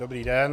Dobrý den.